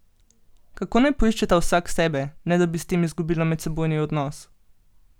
Kako naj poiščeta vsak sebe, ne da bi s tem izgubila medsebojni odnos?